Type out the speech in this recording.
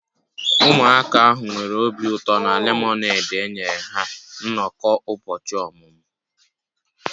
Ụmụaka ahụ nwere obi ụtọ na lemonade enyere ha na nnọkọ ụbọchị ọmụmụ